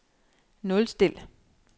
nulstil